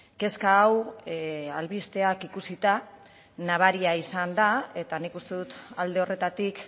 kezka hau albisteak ikusita nabaria izan da eta nik uste dut alde horretatik